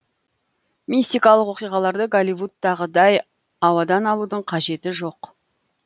мистикалық оқиғаларды голливудтағыдай ауадан алудың қажеті жоқ